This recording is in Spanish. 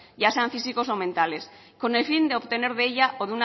ya sean físicos o mentales con el fin de obtener de ella o